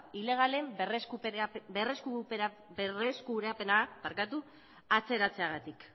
ilegalen berreskurapena atzeratzeagatik